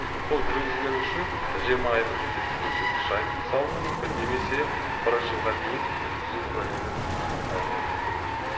сол жүргізгені үшін жиырма айлық есептік көрсеткіш айыппұл салынуы мүмкін немесе бір жылға дейін жүргізу куәлігінен айырылуы мүмкін